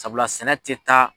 Sabula sɛnɛ tɛ taa.